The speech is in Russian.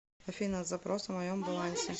афина запрос о моем балансе